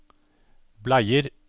bleier